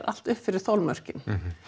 allt upp fyrir þolmörkin